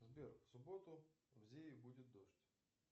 сбер в субботу в зее будет дождь